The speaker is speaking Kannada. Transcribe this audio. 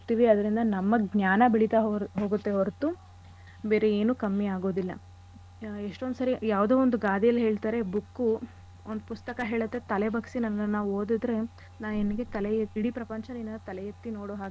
ಅದ್ರಿಂದ ನಮ್ಮ ಜ್ಞಾನ ಬೆಳಿತ ಹೋಗತ್ತೆ ಹೊರತು ಬೇರೆ ಏನು ಕಮ್ಮಿ ಆಗೋದಿಲ್ಲ. ಆ ಎಷ್ಟೊಂದ್ ಸರಿ ಯಾವ್ದೊ ಒಂದ್ ಗಾದೆಲಿ ಹೇಳ್ತಾರೆ book ಒಂದ್ ಪುಸ್ತಕ ಹೇಳತ್ತೆ ತಲೆ ಬಗ್ಸಿ ನನ್ನನ್ನ ಓದಿದ್ರೆ ನಾ ನಿನಿಗೆ ತಲೆ ಇಡೀ ಪ್ರಪಂಚ ನಿನ್ನನ್ನ ತಲೆ ಎತ್ತಿ ನೋಡೋ ಹಾಗೆ.